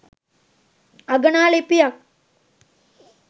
අගනා ලිපියක්